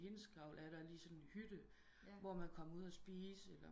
Hindsgavl er der lige sådan en hytte hvor man kan komme ud og spise